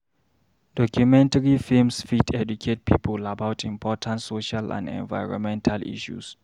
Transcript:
Documentary films fit educate people about important social and environmental issues.